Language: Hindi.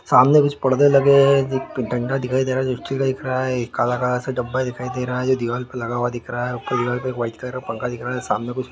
सामने कुछ पर्दे लगे हैंकि डंडा दिख रहा है काला काला सा डब्बा दिखाई दे रहा हैजो दीवार पर लगा हुआ दिख रहा है वाइट कलर का पंखा दिख रहा हैसामने कुछ--